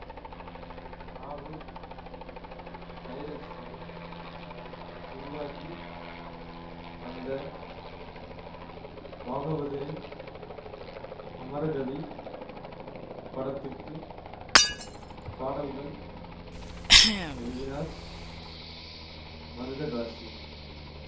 நாகூர் டைரக்ஷனிலும் உருவாகி வந்த பாகவதரின் அமரகவி படத்துக்கு பாடல்கள் எழுதினார் மருதகாசி